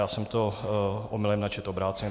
Já jsem to omylem načetl obráceně.